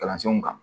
Kalansenw kan